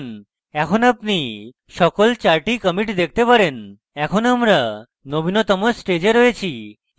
এখন আপনি সকল চারটি commits দেখতে পারেন এখন আমরা নবীনতম stage রয়েছি